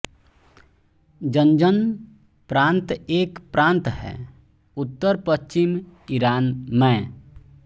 Zanjan प्रांत एक प्रांत हैं उत्तरपश्चिम ईरान मैं